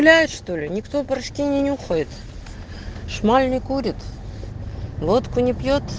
блядь что ли никто почти не уходит шмаль не курит водку не пьёт